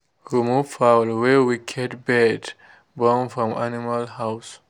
remove fowl wey wicked bird born from animal house.